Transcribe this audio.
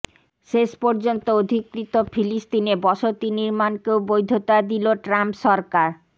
শেষ পর্যন্ত অধিকৃত ফিলিস্তিনে বসতি নির্মাণকেও বৈধতা দিল ট্রাম্প সরকার